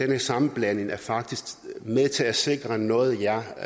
den sammenblanding er faktisk med til at sikre noget jeg